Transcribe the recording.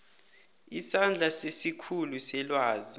isandla sesikhulu selwazi